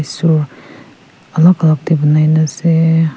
isor alag alag te banai na ase.